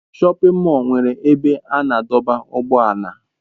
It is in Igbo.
Shọpin mọll nwere ebe a na-adọba ụgbọala.